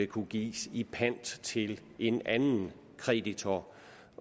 kunne gives i pant til en anden kreditor